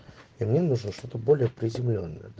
мне нужно что-то более приземлённое